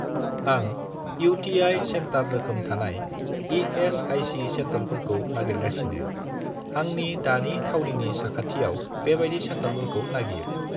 आं UTI. Centre रोखोम थानाय इ.एस.आइ.सि. सेन्टारफोरखौ नागिरगासिनो, आंनि दानि थावनिनि साखाथियाव बेबादि सेन्टारफोरखौ नागिर।